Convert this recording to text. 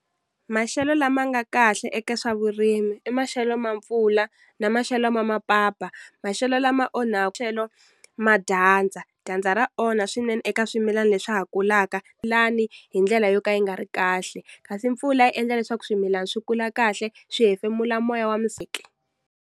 Maxelo lama nga kahle eka swa vurimi i maxelo ma mpfula na maxelo ma mapapa maxelo lama onhaku ma dyandza, dyandza ra onha swinene eka swimilani leswi ha kulaka lani hi ndlela yo ka yi nga ri kahle kasi mpfula yi endla leswaku swimilani swi kula kahle swi hefemula moya wa .